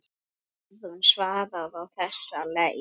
Guðrún svaraði á þessa leið.